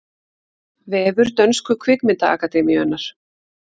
Vefur dönsku kvikmyndaakademíunnar